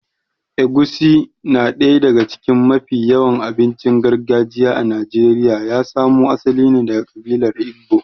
Egusi na daya daga cikin mafi yawan abincin gargajiya a Najeriya ya samo asali ne daga ƙabilar Igbo.